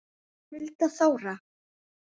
Hulda Þóra.